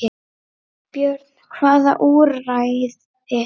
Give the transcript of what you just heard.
Björn: Hvaða úrræði?